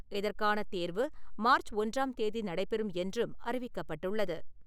இதற்கான தேர்வு மார்ச் ஒன்றாம் தேதி நடைபெறும் என்றும் அறிவிக்கப்பட்டுள்ளது.